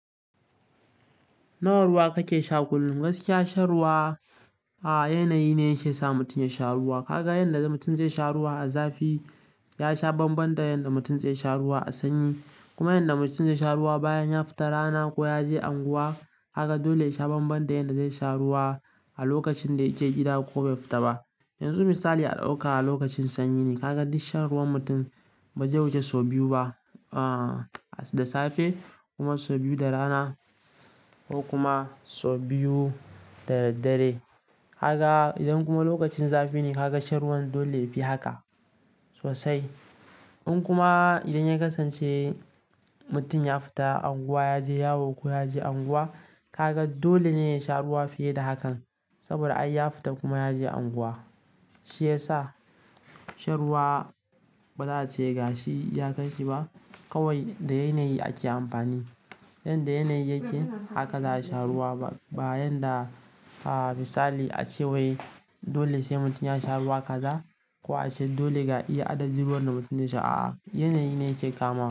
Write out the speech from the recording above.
Nawa ruwa kake sha kullum? Gaskiya shan ruwa, a, yanayi ne ya sa mutum ya sha ruwa. Kaga yanda da mutum zai sha ruwa a zafi ya sha bamban da yanda mutum zai sha ruwa a sanyi. Kuma yanda mutum zai sha ruwa bayan ya fita rana ko yaje unguwa, haka dole ya sha bamban da yanda zai sha ruwa a lokacin da yake gida ko bai fita ba. Yanzu misali a dauka a lokacin sanyi, ka ga duk shan ruwan mutum bazai wuce sau biyu ba, da safe kuma sau biyu da raana, ko kuma sau biyu da daddare. Kaga idan kuma lokacin zafi ne, ka ga shan ruwan dole yafi haka sosai. In kuma idan ya kasance mutum ya fita anguwa, ya je yawo ko yaje anguwa, ka ga dole ne ya sha ruwa fiye da hakan. Saboda ai ya fita kuma yaje anguwa shi yasa shan ruwa, baza a ce gashi iyakan shi ba kawai da yanayi ake amfani. Yanda yanayi yake, haka za a sha ruwa. Ba bayan da, a, misali a ce wai dole sai mutum ya sha ruwa kaza ko a ce dole ga iya adadin ruwan da mutum ya sha a'a. Yanayi ne yake kamawa.